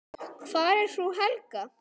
Hvar er frú Helga?